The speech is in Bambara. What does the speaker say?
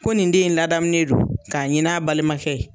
Ko nin den in ladamunen don k'a ɲini a balimakɛ ye.